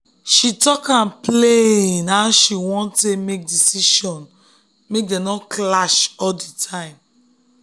she talk am plain how she wan dey take make decisions make dem no dey clash all the time.